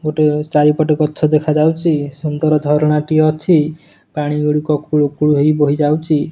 ଗୁଟେ ଚାରିପଟେ ଗଛ ଦେଖାଯାଉଚି ସୁନ୍ଦର ଝରଣାଟି ଅଛି ପାଣି ଗୁଡିକ କୁଳୁ କୁଳୁ ହେଇ ବହିଯାଉଚି।